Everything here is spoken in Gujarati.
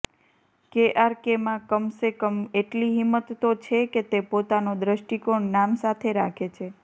કેઆરકેમાં કમસે કમ એટલી હિંમત તો છે કે તે પોતાનો દ્રષ્ટિકોણ નામ સાથે રાખે છે